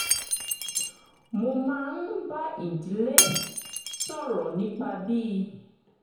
mo máa ń bá ìdílé sọ̀rọ̀ nípa bí